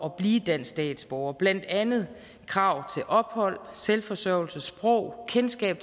at blive dansk statsborger blandt andet krav til ophold selvforsørgelse sprog kendskab